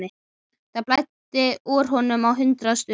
Það blæddi úr honum á hundrað stöðum.